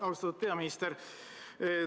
Austatud peaminister!